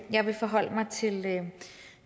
jeg vil forholde mig til